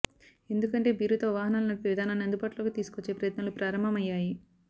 ఎందుకంటే బీరుతో వాహనాలు నడిపే విధానాన్ని అందుబాటులోకి తీసుకొచ్చే ప్రయత్నాలు ప్రారంభమయ్యాయి